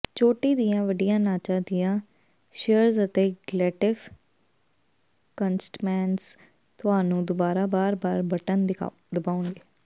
ਚੋਟੀ ਦੀਆਂ ਵੱਡੀਆਂ ਨਾਚਾਂ ਦੀਆਂ ਸ਼ਿਅਰਸ ਅਤੇ ਗਲੇਟਿਵ ਕੰਸਟਮੈਂਜ਼ ਤੁਹਾਨੂੰ ਦੁਬਾਰਾ ਬਾਰ ਬਾਰ ਬਟਨ ਦਬਾਉਣਗੇ